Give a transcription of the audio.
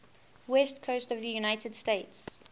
west coast of the united states